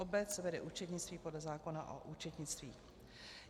Obec vede účetnictví podle zákona o účetnictví.